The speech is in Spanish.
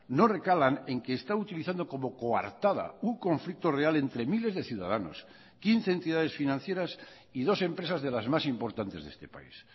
no recalan en que está utilizando como coartada un conflicto real entre miles de ciudadanos quince entidades financieras y dos empresas de las más importantes de este país